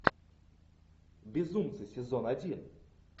безумцы сезон один